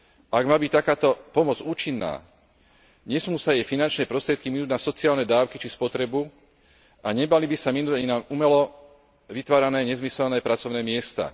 Ak má byť takáto pomoc účinná, nesmú sa jej finančné prostriedky minúť na sociálne dávky, či spotrebu a nemali by sa minúť ani na umelo vytvárané nezmyselné pracovné miesta.